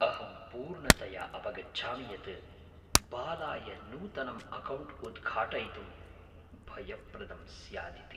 अहं पूर्णतया अवगच्छामि यत् बालाय नूतनं अकौण्ट् उद्घाटयितुं भयप्रदं स्यादिति।